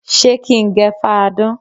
Ṣé kí n gẹ fáadán?